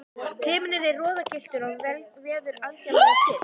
Himinninn er roðagylltur og veður algerlega stillt.